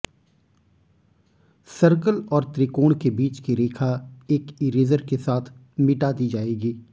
circle और त्रिकोण के बीच की रेखा एक इरेज़र के साथ मिटा दी जाएगी